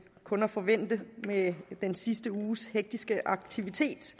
kun at forvente med den sidste uges hektiske aktivitet